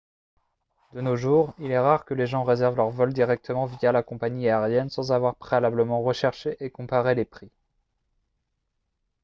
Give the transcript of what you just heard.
de nos jours il est rare que les gens réservent leur vol directement via la compagnie aérienne sans avoir préalablement recherché et comparé les prix